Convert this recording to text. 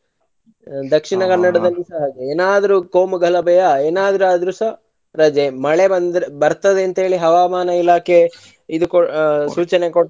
Dakshina Kannada ದಲ್ಲು ಸಹ ಹಾಗೆ ಎನಾದ್ರು ಕೋಮುಗಲಬೆ ಎನಾದ್ರು ಆದ್ರು ಸಹ ರಜೆ ಮಳೆ ಬಂದ್ರೆ ಬರ್ತದೆ ಅಂತ ಹೇಳಿ ಹವಾಮಾನ ಇಲಾಖೆ ಇದು ಕೊ~ ಸೂಚನೆ ಕೊಟ್ರೆ.